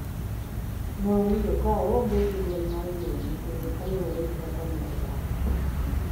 Nowinjo ka oonge duol mar jiwo nyithinde kaluore gi kaka ne odak